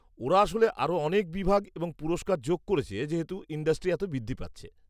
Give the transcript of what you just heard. -ওরা আসলে আরও অনেক বিভাগ এবং পুরস্কার যোগ করেছে যেহেতু ইন্ডাস্ট্রি এতটা বৃদ্ধি পাচ্ছে।